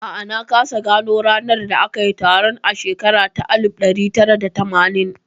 A'a, na kasa gano ranar da aka yi taron a shekara ta alif ɗari tara da tamanin